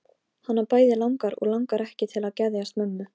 Þeir buðu mér til borðs og færðu mér drykk.